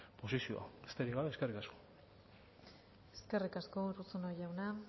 posizioa besterik gabe eskerrik asko eskerrik asko urruzuno jauna